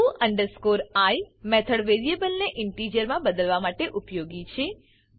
to i method variable ને integer મા બદલવા માટે ઉપયોગી છે